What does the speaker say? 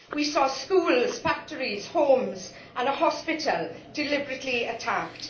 We saw schools, factories, homes and a hospital deliberately attacked.